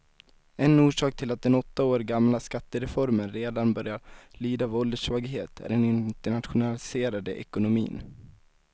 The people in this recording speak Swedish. En orsak till att den åtta år gamla skattereformen redan börjar lida av ålderssvaghet är den internationaliserade ekonomin.